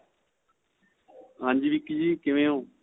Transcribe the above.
ਹਾਂਜੀ Vicky ਜ਼ੀ ਕਿਵੇਂ ਹੋ